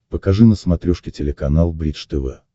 покажи на смотрешке телеканал бридж тв